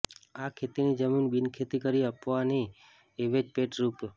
આ ખેતીની જમીન બિનખેતી કરી આપવાની અવેજ પેટે રૂા